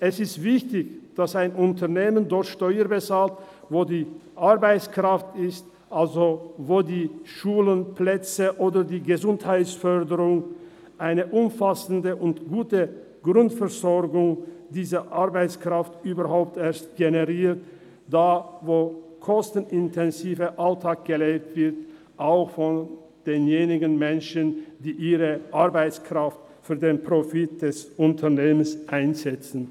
Es ist wichtig, dass ein Unternehmen dort Steuern bezahlt, wo die Arbeitskraft ist, also da wo die Schulen, Plätze oder die Gesundheitsförderung eine umfassende und gute Grundversorgung diese Arbeitskraft überhaupt erst generiert, da wo der kostenintensive Alltag gelebt wird, auch von denjenigen Menschen, die ihre Arbeitskraft für den Profit des Unternehmens einsetzen.